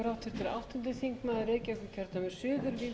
virðulegi forseti alþingismenn ræða í